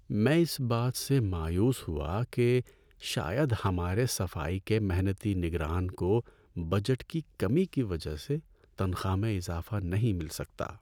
میں اس بات سے مایوس ہوا کہ شاید ہمارے صفائی کے محنتی نگران کو بجٹ کی کمی کی وجہ سے تنخواہ میں اضافہ نہیں مل سکتا۔